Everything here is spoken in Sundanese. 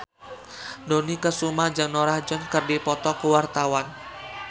Dony Kesuma jeung Norah Jones keur dipoto ku wartawan